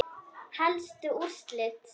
Helstu úrslit